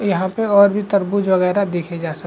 यहाँ पे और भी तरबूज वगैरह देखे जा सक --